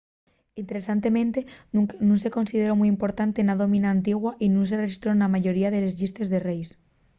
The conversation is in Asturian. interesantemente nun se consideró mui importante na dómina antigua y nun se rexistró na mayoría de les llistes de reis